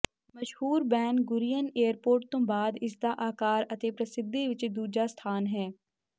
ਮਸ਼ਹੂਰ Ben Gurion airport ਤੋਂ ਬਾਅਦ ਇਸਦਾ ਆਕਾਰ ਅਤੇ ਪ੍ਰਸਿੱਧੀ ਵਿੱਚ ਦੂਜਾ ਸਥਾਨ ਹੈ